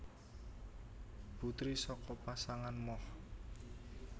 Putri saka pasangan Moch